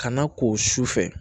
Ka na ko sufɛ